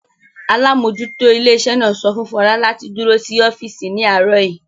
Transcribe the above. Alámójútó ilé iṣẹ́ náà sọ fún Fọlá láti dúró sí ọ́físì ní àárọ̀ yìí